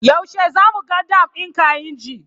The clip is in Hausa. Yaushe zamu ga dam din kainji?